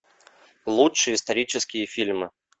лучшие исторические фильмы